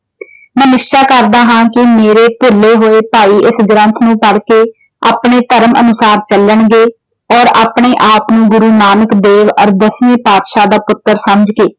ਮੈਂ ਨਿਸ਼ਚਾ ਕਰਦਾ ਹਾਂ ਕਿ ਮੇਰੇ ਭੁੱਲੇ ਹੋਏ ਭਾਈ ਇਸ ਗ੍ਰੰਥ ਨੂੰ ਪੜ ਕੇ ਆਪਣੇ ਧਰਮ ਅਨੁਸਾਰ ਚੱਲਣਗੇ। ਔਰ ਆਪਣੇ ਆਪ ਨੂੰ ਗੁਰੂ ਨਾਨਕ ਦੇਵ ਔਰ ਦਸਮੇਂ ਪਾਦਸ਼ਾਹ ਦਾ ਪੁੱਤਰ ਸਮਝ ਕੇ।